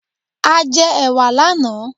A jẹ ẹ̀wà lànáà